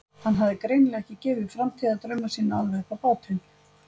Hann hafði greinilega ekki gefið framtíðardrauma sína alveg upp á bátinn.